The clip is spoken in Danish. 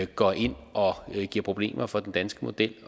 går ind og giver problemer for den danske model